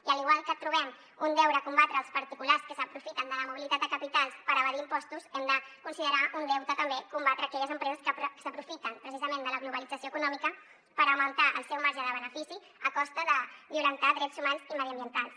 i igual que trobem un deure combatre els particulars que s’aprofiten de la mobilitat de capitals per evadir impostos hem de considerar un deute també combatre aquelles empreses que s’aprofiten precisament de la globalització econòmica per augmentar el seu marge de benefici a costa de violentar drets humans i mediambientals